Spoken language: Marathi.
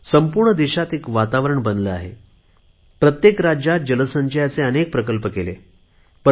संपूर्ण देशात एक वातावरण बनले आहे काही दिवसात प्रत्येक राज्यात जल संचयाचे अनेक प्रकल्प केले गेले